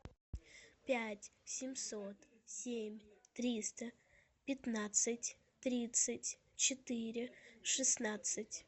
пять семьсот семь триста пятнадцать тридцать четыре шестнадцать